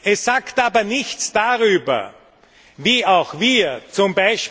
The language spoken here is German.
Es sagt aber nichts darüber, wie auch wir z.